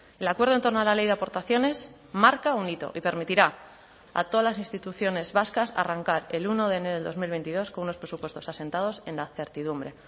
el acuerdo en torno a la ley de aportaciones marca un hito y permitirá a todas las instituciones vascas arrancar el uno de enero del dos mil veintidós con unos presupuestos asentados en la certidumbre